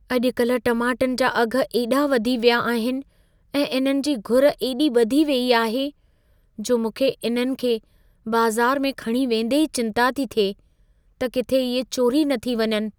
अॼु कल टमाटनि जा अघि एॾा वधी विया आहिनि ऐं इन्हनि जी घुर एॾी वधी वेई आहे, जो मूंखे इन्हनि खे बाज़ारु में खणी वेंदे ई चिंता थी थिए, त किथे इहे चोरी न थी वञनि।